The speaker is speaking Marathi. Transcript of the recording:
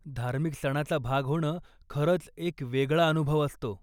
धार्मिक सणाचा भाग होणं, खरंच एक वेगळा अनुभव असतो.